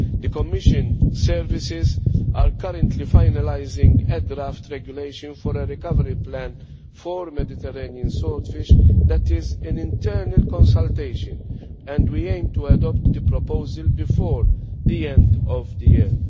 The Commission is currently finalising a draft regulation for a recovery plan for Mediterranean swordfish, which is in internal consultation, and we aim to adopt the proposal before the end of the year.